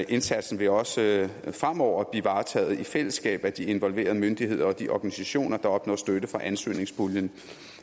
indsatsen vil også fremover blive varetaget i fællesskab af de involverede myndigheder og de organisationer der opnår støtte fra ansøgningspuljen